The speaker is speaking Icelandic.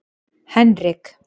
Henrik